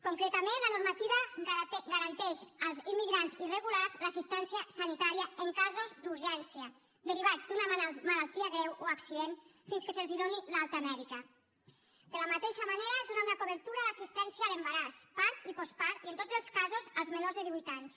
concretament la normativa garanteix als immigrants irregulars l’assistència sanitària en casos d’urgència derivats d’una malaltia greu o accident fins que se’ls doni l’alta mèdica de la mateixa manera es dóna una cobertura a l’assistència a l’embaràs part i postpart i en tots els casos als menors de divuit anys